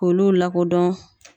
K'olu lakodɔn.